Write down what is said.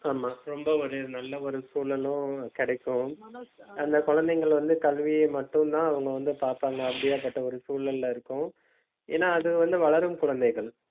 ஆமா ரொம்ப ஒரு நல்ல ஒரு சூழலும் கிடைக்கும் அந்த குழந்தைங்க வந்து கல்வியை மட்டும் தான் அவங்க வந்து பாப்பாங்க. அப்படியாப்பட்ட ஒரு சூழல்ல இருக்கோம். ஏன்னா அது வந்து வளரும் குழந்தைகள்